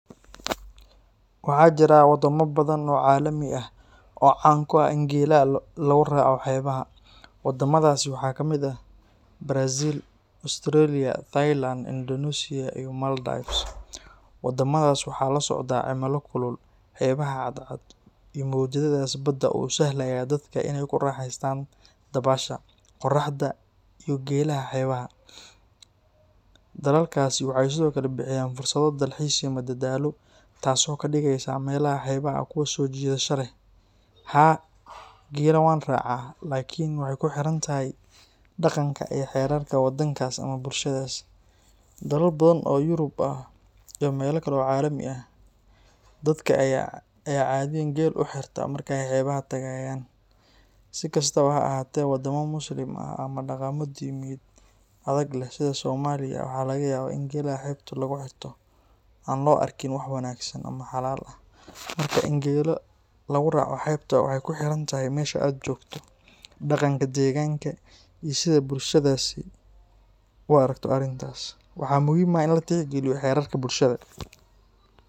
Waxaa jira wadamo badan oo caalami ah oo caan ku ah in gelaha lagu raaco xeebaha. Wadamadaasi waxaa ka mid ah Brazil, Australia, Thailand, Indonesia, iyo Maldives. Wadamadaas waxaa la socda cimilo kulul, xeebaha cad cad, iyo mowjadaha badda oo u sahlaya dadka inay ku raaxaystaan dabaasha, qoraxda, iyo gelaha xeebaha. Dalalkaasi waxay sidoo kale bixiyaan fursado dalxiis iyo madadaalo, taasoo ka dhigaysa meelaha xeebaha ah kuwo soo jiidasho leh. Haa, gela wanracaah laakiin waxay ku xiran tahay dhaqanka iyo xeerarka wadankaas ama bulshadaas. Dalal badan oo Yurub ah iyo meelo kale oo caalami ah, dadka ayaa caadiyan gel u xirta marka ay xeebaha tagayaan. Si kastaba ha ahaatee, wadamo Muslim ah ama dhaqammo diimeed adag leh, sida Soomaaliya, waxaa laga yaabaa in gelaha xeebta lagu xirto aan loo arkin wax wanaagsan ama xalaal ah. Marka, in gel lagu raaco xeebta waxay ku xiran tahay meesha aad joogto, dhaqanka deegaanka, iyo sida bulshadaasi u aragto arrintaas. Waxaa muhiim ah in la tixgeliyo xeerarka bulshada.